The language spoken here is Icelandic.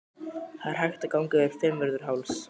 Það er hægt að ganga yfir Fimmvörðuháls.